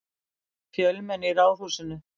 Fjölmenni í Ráðhúsinu